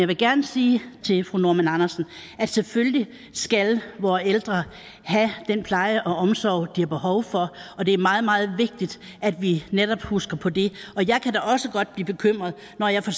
vil gerne sige til fru kirsten normann andersen at selvfølgelig skal vore ældre have den pleje og omsorg de har behov for og det er meget meget vigtigt at vi netop husker på det jeg kan da også godt blive bekymret når jeg for